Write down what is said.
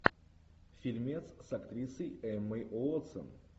фильмец с актрисой эммой уотсон